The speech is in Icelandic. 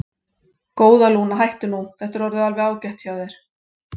Góða, Lúna, hættu nú, þetta er orðið alveg ágætt hjá þér.